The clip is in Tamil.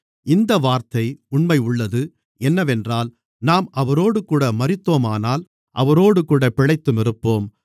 இந்த வார்த்தை உண்மையுள்ளது என்னவென்றால் நாம் அவரோடுகூட மரித்தோமானால் அவரோடுகூடப் பிழைத்துமிருப்போம்